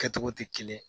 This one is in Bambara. Kɛcogo tɛ kelen ye